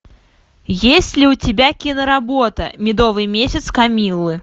есть ли у тебя киноработа медовый месяц камиллы